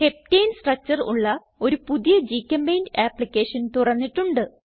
ഹെപ്റ്റനെ structure ഉള്ള ഒരു പുതിയ ഗ്ചെമ്പെയിന്റ് ആപ്പ്ളിക്കേഷൻ തുറന്നിട്ടുണ്ട്